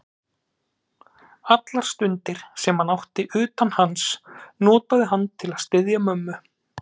Allar stundir, sem hann átti utan hans, notaði hann til að styðja mömmu.